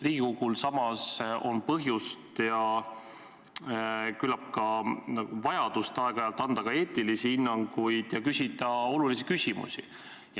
Riigikogul on samas põhjus ja küllap ka vajadus aeg-ajalt anda eetilisi hinnanguid ja küsida olulisi küsimusi.